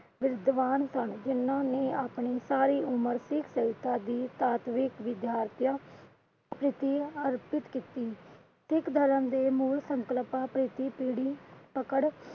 ਵਿਦਿਵਾਨ ਸਨ ਜਿਨ੍ਹਾਂ ਨੇ ਆਪਣੀਆਂ ਸਾਰੀ ਉਮਰ ਸਿੱਖ ਸਹਿੰਤਾ ਦੀ ਸਾਤਵਿਕ ਅਰਪਿਤ ਕੀਤੀ । ਸਿੱਖ ਧਰਮ ਦੇ ਮੂਲ ਸੰਕਲਪਾਂ ਪ੍ਰਤੀ ਪੀੜੀ ਪਕੜ